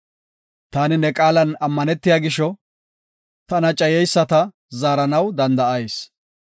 Taani ne qaalan ammanetiya gisho, tana cayeyisata zaaranaw danda7ayis.